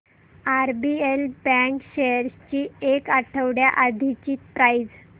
RBL bank shares ची एक आठवड्या आधीची प्राइस